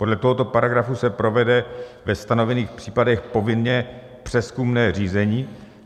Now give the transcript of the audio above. Podle tohoto paragrafu se provede ve stanovených případech povinně přezkumné řízení.